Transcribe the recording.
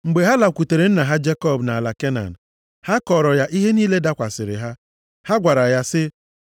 Mgbe ha lakwutere nna ha Jekọb nʼala Kenan, ha kọọrọ ya ihe niile dakwasịrị ha. Ha gwara ya sị,